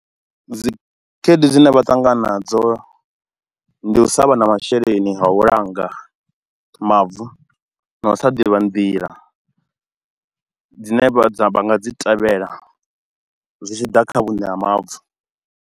Dzi khaedu dzine vha ṱangana nadzo, ndi u sa vha na masheleni a u langa mavu na u sa ḓivha nḓila dzine vha dza nga dzi tevhela zwi tshi ḓa kha vhune ha mavu.